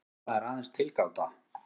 En þetta er aðeins tilgáta.